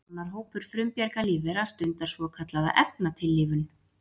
Annar hópur frumbjarga lífvera stundar svokallaða efnatillífun.